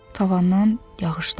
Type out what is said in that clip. Tavandan yağış damır.